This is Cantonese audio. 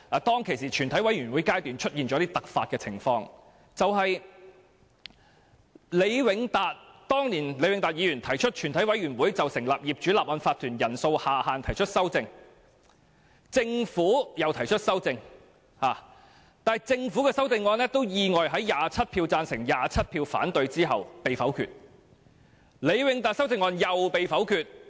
當時，全委會出現了突發情況，那就是前議員李永達在全委會審議階段就成立業主立案法團的人數下限提出修正案，政府亦提出修正案，但政府的修正案意外地在27票贊成、27票反對的情況下被否決，前議員李永達的修正案同樣遭到否決。